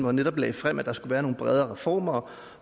han netop lagde frem at der skulle være nogle bredere reformer